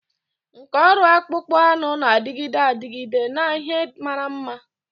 Nkà ọrụ akpụkpọ anụ na-adịgide adịgide na ihe mara mma.